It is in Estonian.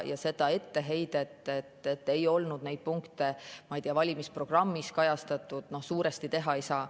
Ja seda etteheidet, et ei olnud neid punkte valimisprogrammis kajastatud, suuresti teha ei saa.